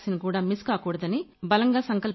vaccine కూడా miss కాకూడదని బలంగా